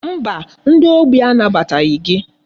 Mba, ndi ogbi a nabataghị gị.